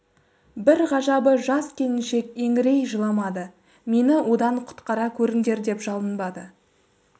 бір ғажабы жас келіншек еңірей жыламады мені одан құтқара көріңдер деп жалынбады